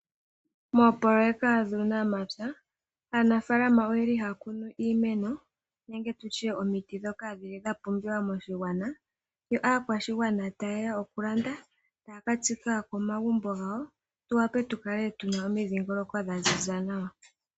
Moopoloeka dhuunamapya , aanafaalama oyeli haya kunu nenge omiti ndhoka dhili dhapumbiwa moshigwana. Yo aakwashigwana tayeya okulanda taya ka tsika komagumbo gawo, tuwape tukale tuna omandhindhiliko dhaziza nawa.